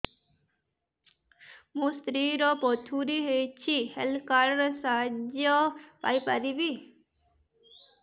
ମୋ ସ୍ତ୍ରୀ ର ପଥୁରୀ ହେଇଚି ହେଲ୍ଥ କାର୍ଡ ର ସାହାଯ୍ୟ ପାଇପାରିବି